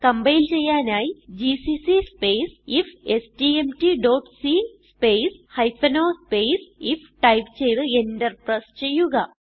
compile ചെയ്യാനായി GCC space ഇഫ്സ്റ്റ്മ്റ്റ് dot c space o space if type ചെയ്ത് Enter press ചെയ്യുക